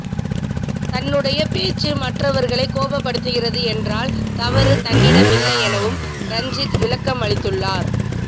தன்னுடைய பேச்சு மற்றவர்களை கோபப்படுத்துகிறது என்றால் தவறு தன்னிடமில்லை எனவும் ரஞ்சித் விளக்கமளித்துள்ளார்